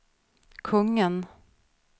kungen